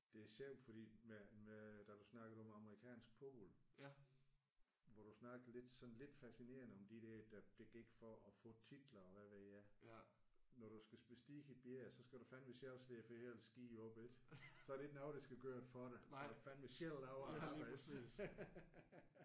Det er sjovt fordi med med da du snakkede om amerikansk fodbold hvor du snakkede lidt sådan lidt fascinerende om de der der gik for at få titler og hvad ved jeg. Når du skal bestige et bjerg så skal du fandeme selv slæbe for ellers gider du ikke. Så er der ikke nogen der skal gøre det for dig så vil du fandeme selv lave arbejdet